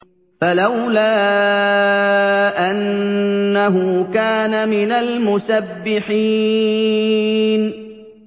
فَلَوْلَا أَنَّهُ كَانَ مِنَ الْمُسَبِّحِينَ